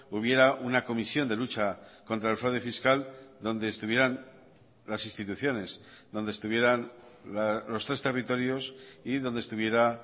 hubiera una comisión de lucha contra el fraude fiscal donde estuvieran las instituciones donde estuvieran los tres territorios y donde estuviera